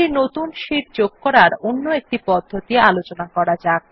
একটি নতুন শীট যোগ করার অন্য একটি পদ্ধতি জানা যাক